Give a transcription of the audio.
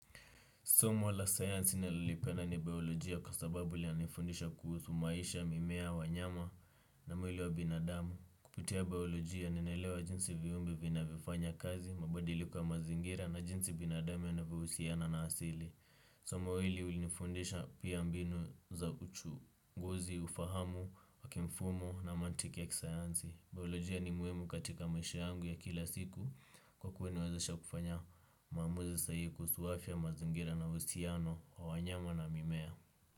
Somo la sayansi nalolipenda ni biolojia kwa sababu linanifundisha kuhusu maisha, mimea, wanyama na mwili wa binadamu. Kupitia biolojia ninaelewa jinsi viumbe vinavyofanya kazi, mabadiliko ya mazingira na jinsi binadamu yanavyohusiana na asili. Soma hili ulinifundisha pia mbinu za uchunguzi, ufahamu, wa kimfumo na mantiki ya kisayansi. Biolojia ni muhimu katika maisha yangu ya kila siku kwa kuwa inawezesha kufanya maamuza sahihi kuhusu afya mazingira na uhusiano wa wanyama na mimea.